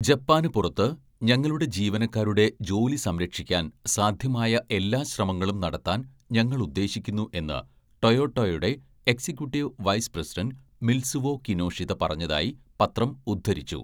ജപ്പാനു പുറത്ത്, ഞങ്ങളുടെ ജീവനക്കാരുടെ ജോലി സംരക്ഷിക്കാൻ സാധ്യമായ എല്ലാ ശ്രമങ്ങളും നടത്താൻ ഞങ്ങൾ ഉദ്ദേശിക്കുന്നു' എന്ന് ടൊയോട്ടയുടെ executive vice president Mitsuo Kinoshita പറഞ്ഞതായി പത്രം ഉദ്ധരിച്ചു.